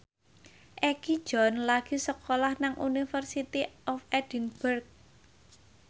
Egi John lagi sekolah nang University of Edinburgh